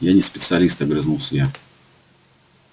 я не специалист огрызнулся я